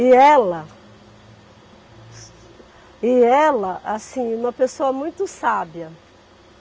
E ela E ela, assim, uma pessoa muito sábia.